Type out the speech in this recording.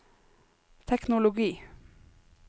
teknologi